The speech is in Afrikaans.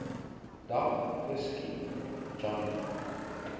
dag geskiet johnny